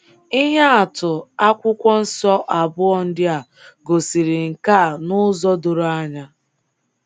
Ihe atụ Akwụkwọ Nsọ abụọ ndị a gosiri nke a n'ụzọ doro anya